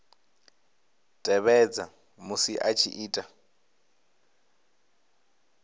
tevhedza musi a tshi ita